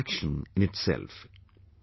Shri Mohan ji runs a salon in Madurai